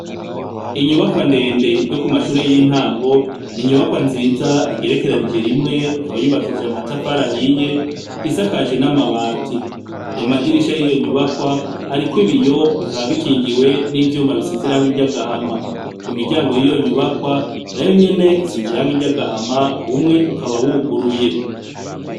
Inyubakwa ndende yo kumashure y’intango n’inyubakwa nziza igerekeranije rimwe ikaba yubakishijwe amatafari ahiye isakajwe n’amabati, amadirisha yiyo nyubakwa ariko ibiyo bikaba bikingiwe n’ivyuma risize irangi ry’agahama imiryango yiyo nyubakwa nayo nyene isize irangi ry’agahama umwe ukaba wuguruye.